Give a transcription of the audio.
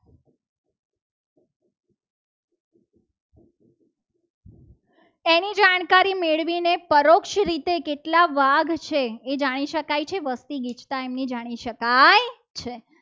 ને પરોક્ષ રીતે કેટલા વાઘ છે. તે જાણી શકાય છે. વસ્તી ગીચતા એમની જાણી શકાય છે.